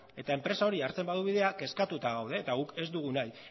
eta enpresak hori hartzen badu bidea kezkatuta gaude eta guk ez dugu nahi